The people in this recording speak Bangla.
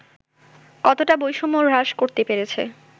কতটা বৈষম্য হ্রাস করতে পেরেছে